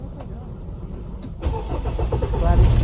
É legal que esclarecer